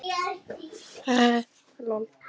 Ekki um líf fólksins sem vinnur í eldhúsinu hérna.